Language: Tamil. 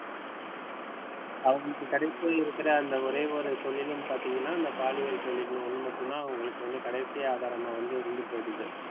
அவங்களுக்கு கடைசியில் இருக்கிற அந்த ஒரே ஒரு தொழில்னு பார்த்தீங்கன்னா அந்த பாலியல் தொழில் ஒன்னு மட்டும் தான் அவங்களுக்கு கடைசி வியாபாரமா வந்து இருந்துபோயிடுது.